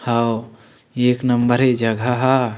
हव एक नंबर हे ये जगह ह--